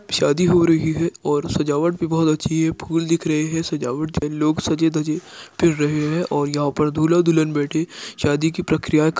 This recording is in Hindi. शादी हो रही है और सजावट भी बहुत अच्छी है। फुल दिख रहै हैं। सजावट ज लोग सजे-धजे फिर रहै हैं और यहा पर दूल्हा-दुल्हन बैठे शादी की प्रक्रिया --